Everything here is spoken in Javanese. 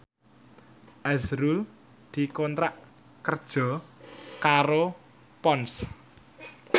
azrul dikontrak kerja karo Ponds